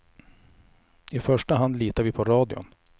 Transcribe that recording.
I första hand litar vi på radion.